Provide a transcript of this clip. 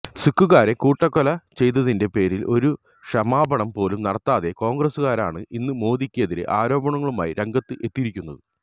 സിഖുകാരെ കൂട്ടക്കെല ചെയ്തതിന്റെ പേരില് ഒരു ക്ഷമാപണം പോലും നടത്താത്ത കോണ്ഗ്രസ്സുകാരാണ് ഇന്ന് മോദിക്ക് എതിരെ ആരോപണങ്ങളുമായി രംഗത്ത് എത്തിയിരിക്കുന്നത്